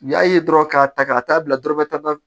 U y'a ye dɔrɔn k'a ta ka taa bila dɔrɔmɛ tan